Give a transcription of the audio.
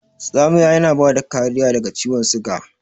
Tsamiya yana bada kariya daga ciwan suga.